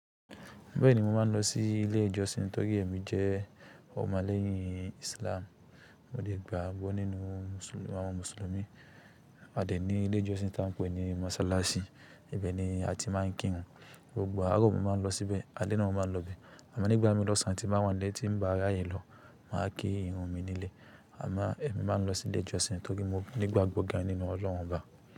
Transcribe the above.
Bẹ́ẹ̀ni mo máa ń lọ sí ilé ìjọsìn torí èmi jẹ́ ọmọlẹ́yìn Islam. Mo dẹ̀ gbàgbọ́ nínú àwọn mùsùlùmí. A dẹ̀ ní ilé ìjọsìn tá ń pè ní mọ́sálásí, ibẹ̀ ni a ti máa ń kírun. Gbogbo àárọ̀ mo máa ń lọ síbẹ̀, alẹ́ náà mo máa ń lọ bẹ́ẹ̀. Àmọ́ nígbà mí lọ sáà tí bá wá nílé tí ń bá ráyè lọ, màá kí ìrun mi nílẹ̀. Àmọ́ èmi máa ń lọ sílé ìjọsìn torí mo ní ìgbàgbọ́ gan-an nínú ọlọ́run ọba.